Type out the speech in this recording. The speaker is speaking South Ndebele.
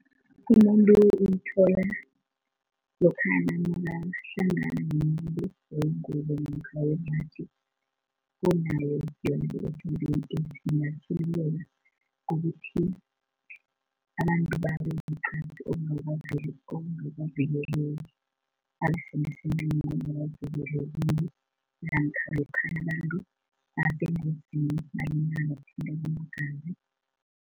Umuntu uyithola lokhana nakahlangana nomuntu wengubo namkha wembaji onayo yona i-H_I_V and AIDS namkha ubulwele . Abantu babe nenqasi olungakavikeleki, basemsemeni okungakavikeleki namkha lokhana abantu basengozini nanyana ngokuthintana kweengazi.